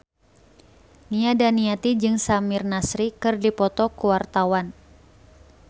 Nia Daniati jeung Samir Nasri keur dipoto ku wartawan